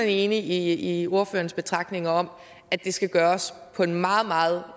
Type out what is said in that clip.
enig i ordførerens betragtninger om at det skal gøres på en meget meget